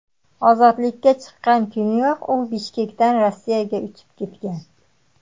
Ozodlikka chiqqan kuniyoq u Bishkekdan Rossiyaga uchib ketgan.